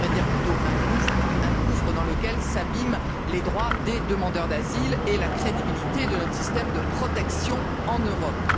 On devrait plutôt dire un gouffre, un gouffre dans lequel s'abîment les droits des demandeurs d'asile et la crédibilité de notre système de protection en Europe.